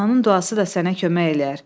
Ananın duası da sənə kömək eləyər.